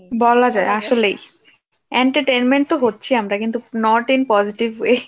বলাযায় আসলেই entertainment তো হচ্ছি, আমরা কিন্তু not in positive